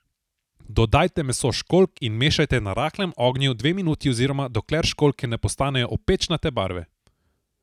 Dodajte meso školjk in mešajte na rahlem ognju dve minuti oziroma dokler školjke ne postanejo opečnate barve.